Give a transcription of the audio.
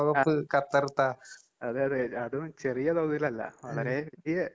അഹ് അതെയതെ അതും ചെറിയ തോതിലല്ല. വളരെ വലിയ